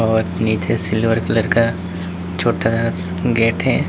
और नीचे silver colour का छोटा सा गेट है।